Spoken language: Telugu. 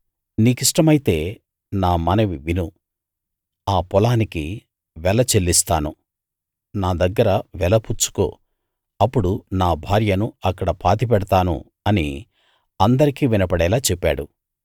నీ కిష్టమైతే నా మనవి విను ఆ పొలానికి వెల చెల్లిస్తాను నా దగ్గర వెల పుచ్చుకో అప్పుడు నా భార్యను అక్కడ పాతిపెడతాను అని అందరికీ వినపడేలా చెప్పాడు